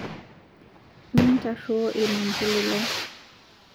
Mintaruo lmampuli lai